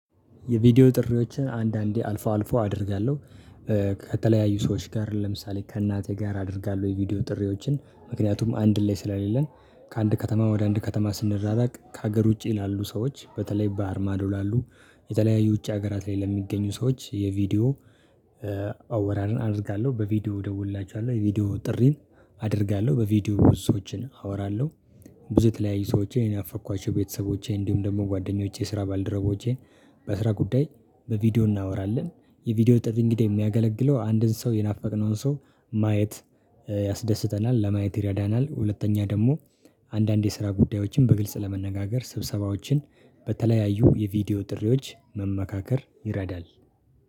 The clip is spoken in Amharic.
የቪዲዮ ጥሪዎችን አንዳንዴ አልፎ አልፎ አደርጋለሁ። ከተለያዩ ሰዎች ጋር ለምሳሌ ከእናቴ ጋር አደርጋለሁ የቪዲዮ ጥሪዎችን ምክንያቱም አንድ ላይ ስለሌለን ከአንድ ከተማ ወደ አንድ ከተማ ስንራራቅ ከሀገር ውጪ ላሉ ሰዎች በተለይ ባህር ማዶ ላሉ የተለያዩ ውጪ ሀገራት ላይ ለሚገኙ ሰዎች የቪዲዮ አወራርን አደርጋለሁ። በቪዲዮ ደውልላችኋለሁ የቪዲዮ ጥሪን አደርጋለሁ። በቪዲዮ ብዙዎችን አወራለሁ። ብዙ የተለያዩ ሰዎችን የናፈቅኳቸው ቤተሰቦቼ እንዲሁም ደግሞ ጓደኞቼ ስራ ባልደረቦቼን። በስራ ጉዳይ በቪዲዮ እናወራለን። የቪዲዮ ጥሪ እንግዲህ የሚያገለግለው አንድን ሰው የናፈቅነውን ሰው ማየት ያስደስተናል ለማየት ይረዳናል። ሁለተኛ ደግሞ አንዳንድ የስራ ጉዳዮችን በግልጽ ለመነጋገር ስብሰባዎችን በተለያዩ የቪዲዮ ጥሪዎች መመካከር ይረዳል።